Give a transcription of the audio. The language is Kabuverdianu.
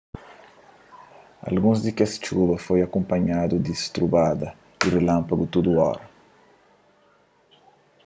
alguns di kes txuba foi akunpanhadu di strubada y rilanpagu tudu óra